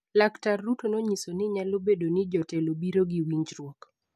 Laktar Ruto nonyiso ni nyalo bedo ni jotelo biro gi winjruok